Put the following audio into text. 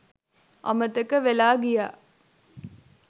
අමතක වෙලා ගියා